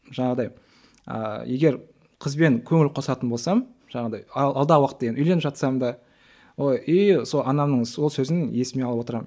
жаңағыдай ыыы егер қызбен көңіл қосатын болсам жаңағыдай алдағы уақытта үйленіп жатсам да ой и сол анамның сол сөзін есіме алып отырамын